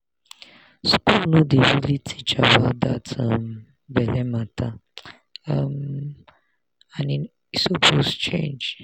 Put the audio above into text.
school no dey really teach about that um belle matter um and e suppose change.